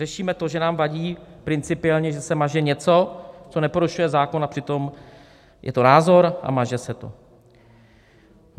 Řešíme to, že nám vadí principiálně, že se maže něco, co neporušuje zákon, a přitom je to názor a maže se to.